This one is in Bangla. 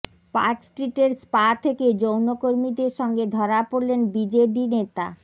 পার্ক স্ট্রিটের স্পা থেকে যৌনকর্মীদের সঙ্গে ধরা পড়লেন বিজেডি নেতা